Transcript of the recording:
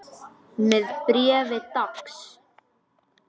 Með bréfi dags.